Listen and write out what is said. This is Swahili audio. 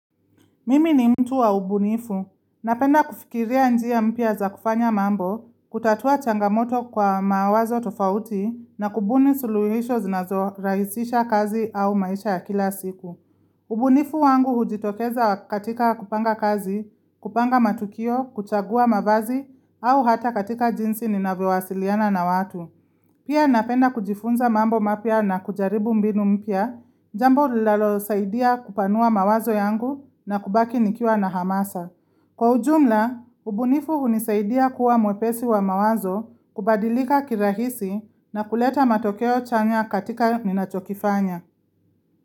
Mimi ni mtu wa ubunifu. Napenda kufikiria njia mpya za kufanya mambo, kutatua changamoto kwa mawazo tofauti na kubuni suluhisho zinazo rahisisha kazi au maisha ya kila siku. Ubunifu wangu hujitokeza katika kupanga kazi, kupanga matukio, kuchagua mavazi au hata katika jinsi ninavyowasiliana na watu. Pia napenda kujifunza mambo mapya na kujaribu mbinu mpya, jambo lalo saidia kupanua mawazo yangu na kubaki nikiwa na hamasa. Kwa ujumla, ubunifu hunisaidia kuwa mwepesi wa mawazo kubadilika kirahisi na kuleta matokeo chanya katika ninachokifanya.